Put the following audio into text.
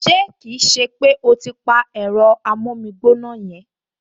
Ṣé kì í ṣe pé o ti pa ẹ̀rọ amómígbóná yẹn!